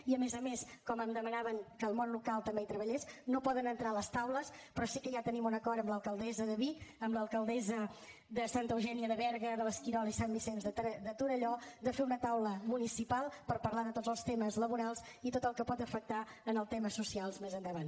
i a més a més com que em demanàvem que el món local també hi treballés no poden entrar a les taules però sí que ja tenim un acord amb l’alcaldessa de vic amb l’alcaldessa de santa eugènia de berga de l’esquirol i sant vicenç de torelló per fer una taula municipal per parlar de tots els temes laborals i tot el que pot afectar els temes socials més endavant